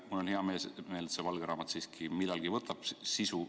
Mul on hea meel, et valge raamat siiski millalgi sisu omandab.